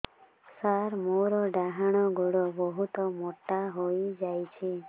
ସାର ମୋର ଡାହାଣ ଗୋଡୋ ବହୁତ ମୋଟା ହେଇଯାଇଛି